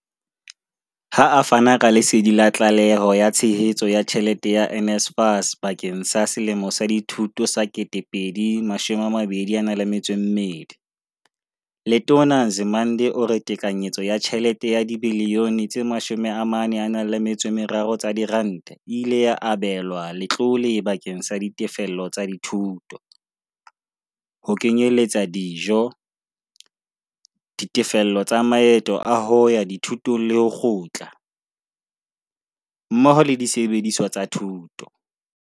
Ha a fana ka lesedi la tlaleho ya tshehetso ya tjhelete ya NSFAS bakeng sa selemo sa dithuto sa 2022, Letona Nzimande o re tekanyetso ya tjhelete ya dibiliyone tse 43 tsa diranta e ile ya abelwa letlole bakeng sa ditefello tsa dithuto, ho kenyeletsa dijo, ditefello tsa maeto a hoya dithutong le ho kgutla, mmoho le disebediswa tsa thuto.